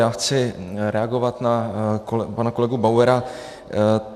Já chci reagovat na pana kolegu Bauera.